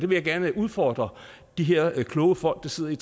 vil jeg gerne udfordre de her kloge folk der sidder i